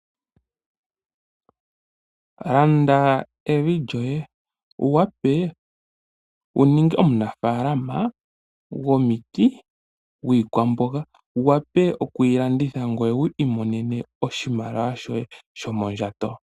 Landa evi lyoye, wuwape wuninge omunafaalama gwomiti, noshowo gwiikamboga, wuwape okwiilanditha ngoye wu imonene oshimaliwa shoye shomondjato.